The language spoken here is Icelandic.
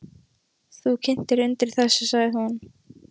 Þú kyntir undir þessu, sagði hún.